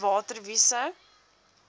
genaamd water wise